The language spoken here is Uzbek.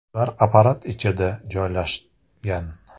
Ular apparat ichida joylashgan.